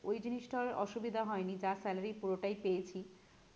ওই জিনিসটার অসুবিধা হয় নি যা salary পুরোটাই পেয়েছি